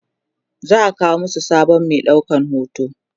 za'a kawo masu sabon Mai ɗaukan hoto